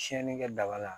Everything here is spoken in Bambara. Tiɲɛnii kɛ daba la